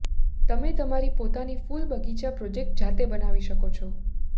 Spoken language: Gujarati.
તમે તમારી પોતાની ફૂલ બગીચા પ્રોજેક્ટ જાતે બનાવી શકો છો